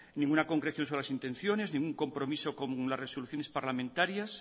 ninguna concreción sobre las intenciones ningún compromiso con las resoluciones parlamentarias